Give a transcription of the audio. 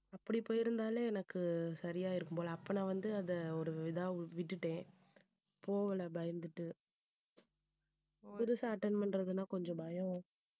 அப்படி போயிருந்தாலே எனக்கு சரியா இருக்கும் போல அப்ப நான் வந்து அதை ஒரு இதா விட்டுட்டேன் போகலை பயந்துட்டு புதுசா attend பண்றதுன்னா கொஞ்சம் பயம்